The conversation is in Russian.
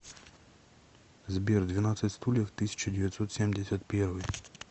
сбер двенадцать стульев тысяча девятьсот семьдесят первый